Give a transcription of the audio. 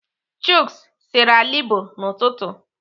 Chuks sere alịbọ n'ụtụtụ.